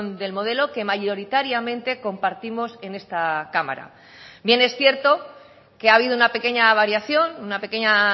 del modelo que mayoritariamente compartimos en esta cámara bien es cierto que ha habido una pequeña variación una pequeña